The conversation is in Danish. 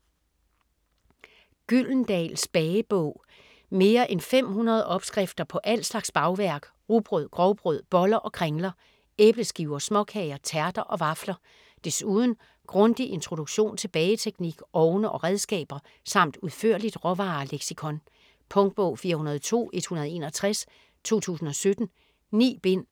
Gyldendals bagebog Mere end 500 opskrifter på al slags bagværk: rugbrød, grovbrød, boller og kringler. Æbleskiver, småkager, tærter og vafler. Desuden grundig introduktion til bageteknik, ovne og redskaber samt udførligt råvareleksikon. Punktbog 402161 2017. 9 bind.